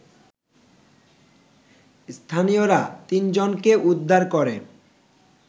স্থানীয়রা তিনজনকে উদ্ধার করে